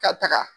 Ka taga